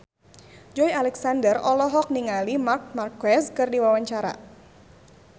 Joey Alexander olohok ningali Marc Marquez keur diwawancara